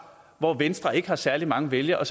hvor venstre ikke har særlig mange vælgere